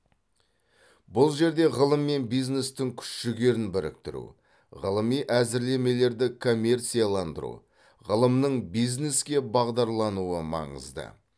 бұл жерде ғылым мен бизнестің күш жігерін біріктіру ғылыми әзірлемелерді коммерцияландыру ғылымның бизнеске бағдарлануы маңызды